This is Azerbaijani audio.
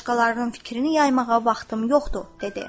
Başqalarının fikrini yaymağa vaxtım yoxdur, dedi.